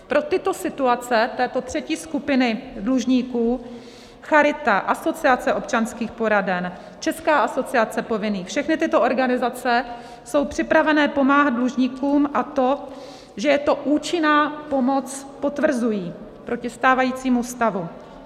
Pro tyto situace této třetí skupiny dlužníků Charita, Asociace občanských poraden, Česká asociace povinných, všechny tyto organizace jsou připravené pomáhat dlužníkům, a to, že je to účinná pomoc, potvrzují, proti stávajícímu stavu.